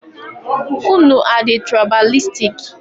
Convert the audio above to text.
Unu adị tụraịbalistik?